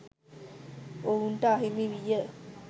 ඔවුන්ට අහිමි විය.